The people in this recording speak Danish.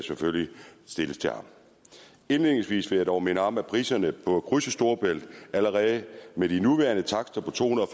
stilles til ham indledningsvis vil jeg dog minde om at priserne for at krydse storebælt allerede med den nuværende takst på to hundrede